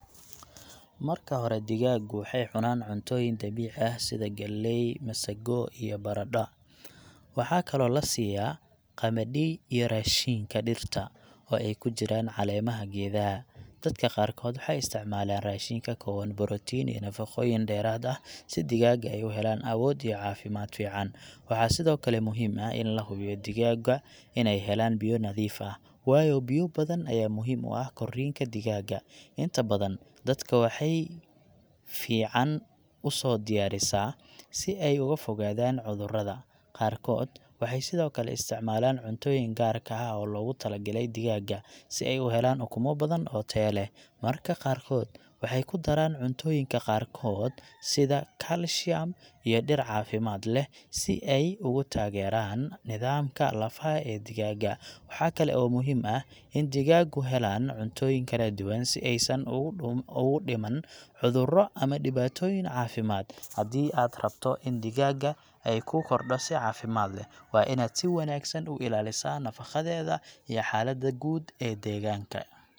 Marka hore, digaaggu waxay cunaan cuntooyin dabiici ah sida galley, masago, iyo baradha. Waxaa kaloo la siiayaa qamadhi iyo raashinka dhirta, oo ay ku jiraan caleemaha geedaha. Dadka qaarkood waxay isticmaalaan raashin ka kooban borotiin iyo nafaqooyin dheeraad ah si digaaga ay u helaan awood iyo caafimaad fiican. Waxaa sidoo kale muhiim ah in la hubiyo in digaagga in ay helaan biyo nadiif ah, waayo biyo badan ayaa muhiim u ah korriinka digaaga. Inta badan, dadka waxay fiican u soo diyaarisaa si ay uga fogaadaan cudurrada. Qaarkood waxay sidoo kale isticmaalaan cuntooyin gaarka ah oo loogu talagalay digaaga si ay u helaan ukumo badan oo taya leh. Marka qaarkood, waxay ku daraan cuntooyinka qaarkood sida calcium iyo dhir caafimaad leh si ay ugu taageeraan nidaamka lafaha ee digaaga. Waxa kale oo muhiim ah in digaaggu helaan cuntooyin kala duwan si aysan ugu dhuuman, ugu dhimman cuduro ama dhibaatooyin caafimaad. Haddii aad rabto in digaagaaga ay ku korodho si caafimaad leh, waa inaad si joogto ah u ilaalisaa nafaqadeeda iyo xaaladda guud ee deegaanka.